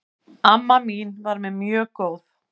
Amma mín var mér mjög góð.